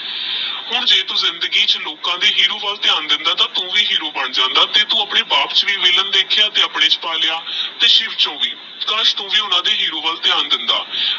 ਹੁਣ ਜੇ ਤੂ ਜ਼ਿੰਦਗੀ ਚ ਹੇਰੋ ਵਾਲ ਧਯਾਨ ਦੇਂਦਾ ਆਹ ਤੇਹ ਤੂ ਵੀ ਹੇਰੋ ਬਣ ਜਾਂਦਾ ਤੇਜ ਤੂ ਆਪਣੇ ਬਾਪ ਚ ਵੀ ਵਿਲ੍ਲਾਂ ਦੇਖ੍ਯਾ ਤੇਹ ਆਪਣੇ ਚ ਵੀ ਵਿਲ੍ਲਾਂ ਪਾ ਲੇਯ ਤੇਹ ਸ਼ਿਵ ਚੋ ਵੀ ਕਾਸ਼ ਤੂ ਵੀ ਓਹਨਾ ਦੇ ਹੇਰੋ ਵਾਲ ਧਯਾਨ ਦੇਂਦਾ